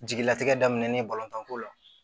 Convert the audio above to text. Jigilatigɛ daminɛnen balontan ko la